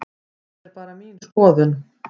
Það er bara mín skoðun.